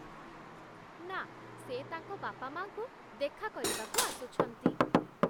ନା, ସେ ତାଙ୍କ ବାପାମାଆଙ୍କୁ ଦେଖା କରିବାକୁ ଆସୁଛନ୍ତି ।